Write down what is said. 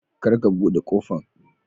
kar ka bude kofan.